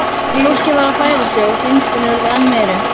Fólkið varð að færa sig og þrengslin urðu enn meiri.